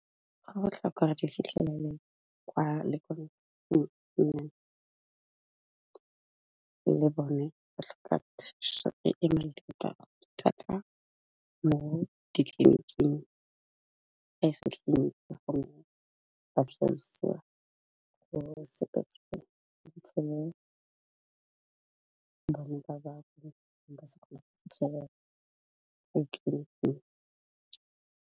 Go botlhokwa go re di fitlhelele kwa le bone ba tlhoka thuso e thata mo ditleniking, .